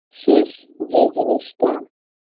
শেষ যে জিনিস টা